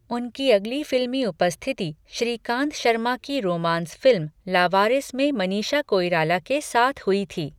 उनकी अगली फिल्मी उपस्थिति श्रीकांत शर्मा की रोमांस फिल्म लावारिस में मनीषा कोइराला के साथ हुई थी।